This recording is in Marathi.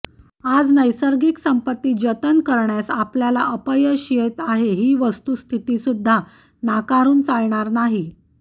आज नैसर्गिक संपत्ती जतन करण्यास आपल्याला अपयश येत आहे ही वस्तुस्थितीसुद्धा नाकारून चालणार नाही